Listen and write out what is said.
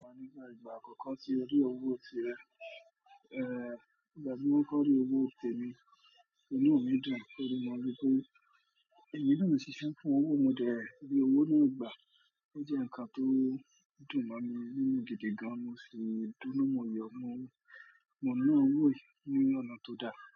Mo nífẹ̀ẹ́ ìgbà àkọ́kọ́ tí mo rí owó tirẹ̀. Ẹ̀. Ìgbà tí wọ́n kọ́rí owó tèmi, inú mi dùn nítorí mo mọ pé ẹ̀mí inú mi ṣiṣẹ́ fún owó, mo jẹ ìwé owó náà gbà. Ó jẹ́ ǹkan tó dùn mí nínú gidi gan. Mo sì dóná mọyì ọmọ owó, mọ̀ná owó nínú ọ̀nà tó dá.